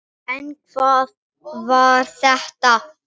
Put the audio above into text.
En hvað var þetta?